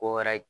Ko wɛrɛ